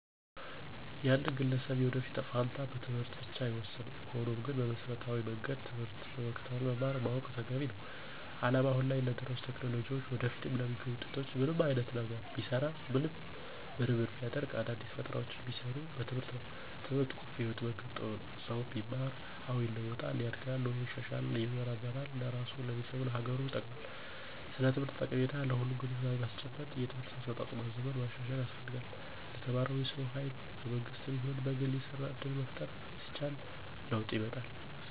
የአንድን ግለሰብ የወደፊት እጣ ፈንታ በትምህርት ብቻ አይወሰንም። ሆኖም ግን በመሰረታዊ መንገድ ትምህርትን መከታተል መማር ማወቅ ተገቢ ነው። አለም አሁን ላይ ለደረሱበት ቴክኖሎጂ ወደፊትም ለሚገኙት ውጤቶች ምንም አይነት ነገር ቢሰራ ምርምር ቢደረግ አዳዲስ ፈጠራውች ቢሰሩ በትምህርት ነው። ትምህርት ቁልፍ የህይወት መንገድ ጥበብ ነው። ሰው ቢማር አዎ ይለዋጣል፣ ያድጋል ኑሮው ይሻሻላል ይመራመራል ለራሱ፣ ለቤተሰቡ፣ ለሀገሩ ይጠቅማል። ስለ ትምህርት ጠቀሜታ ለሁሉም ግንዛቤ ማስጨበጥ የትምህርት አሰጣጡን ማዘመን ማሻሻል ያስፈልጋል። ለተማረው የሰው ሀይል በመንግስትም ይሁን በግል የስራ እድል መፍጠር ሲቻል ለወጥ ይመጣል።